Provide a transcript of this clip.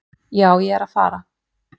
"""Já, ég er að fara."""